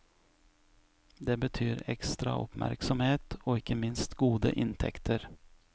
Det betyr ekstra oppmerksomhet og ikke minst gode inntekter.